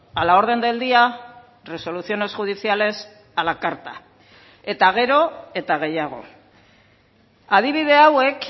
a la orden del día resoluciones judiciales a la carta eta gero eta gehiago adibide hauek